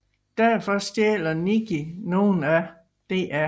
Defor stjæler Nikki nogle af Dr